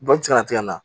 Baji kana tigɛ ka na